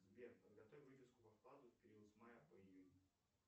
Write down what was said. сбер подготовь выписку по вкладу в период с мая по июнь